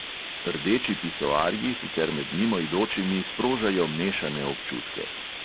Rdeči pisoarji sicer med mimoidočimi sprožajo mešane občutke.